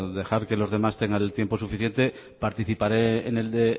dejar que los demás tengan el tiempo suficiente participaré en el de